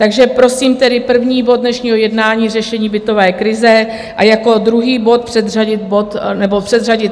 Takže prosím tedy, první bod dnešního jednání, Řešení bytové krize, a jako druhý bod předřadit tisk číslo 41, živnostenský zákon.